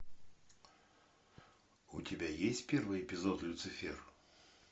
у тебя есть первый эпизод люцифер